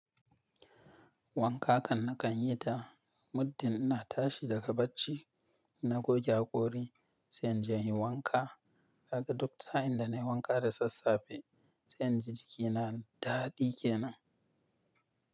Wanka kan na kan yi ta muddin ina tashi daga bacci. Na goge hakori, sai in je in yi wanka. Haka duk sa'in da na yi wanka da sassafe, sai na ji jikina daɗi ke nan.